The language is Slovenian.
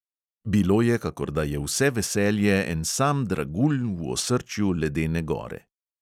Bilo je, kakor da je vse veselje en sam dragulj v osrčju ledene gore.